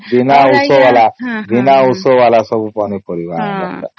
ବିନା ଉସ ଵାଲା ବିନା ଉସ ଵାଲା ସବୁ ପନି ପରିବା